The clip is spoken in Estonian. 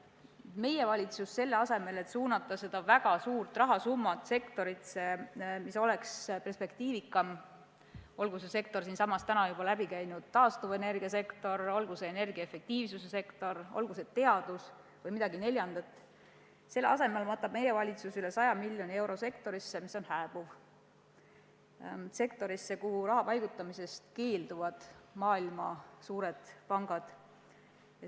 Aga meie valitsus, selle asemel et suunata see väga suur rahasumma sektorisse, mis oleks perspektiivikam – olgu see juba mainitud taastuvenergiasektor, olgu see energia efektiivsuse sektor, olgu see teadus või midagi neljandat –, matab üle 100 miljoni euro sektorisse, mis on hääbuv, sektorisse, kuhu maailma suured pangad keelduvad raha paigutamast.